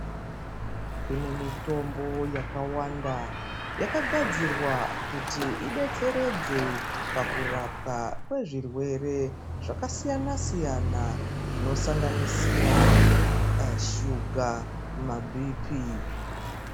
Kune mitombo yakawanda, yakagadzirwa kuti idetseredze pakurapwa kwezvirwe zvakasiyana-siyana ,zvinosanganisira a shuga mabhiphi.